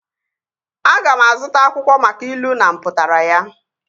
Aga m azụta akwụkwọ maka ilu na mpụtara ya